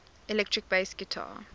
electric bass guitar